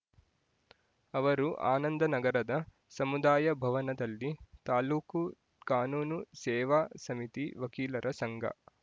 ಅವರು ಆನಂದನಗರದ ಸಮುದಾಯಭವನದಲ್ಲಿ ತಾಲೂಕು ಕಾನೂನು ಸೇವಾ ಸಮಿತಿ ವಕೀಲರ ಸಂಘ